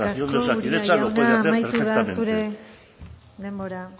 administración de osakidetza lo puede hacer perfectamente eskerrik asko uria jauna amaitu da zure denbora